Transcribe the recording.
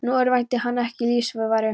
Nú örvænti hann ekki um lífsviðurværi.